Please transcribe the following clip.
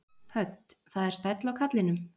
Hödd: Það er stæll á kallinum?